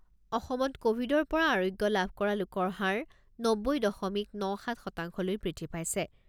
অসমত ক'ভিডৰ পৰা আৰোগ্য লাভ কৰা লোকৰ হাৰ নব্বৈ দশমিক ন সাত শতাংশলৈ বৃদ্ধি পাইছে।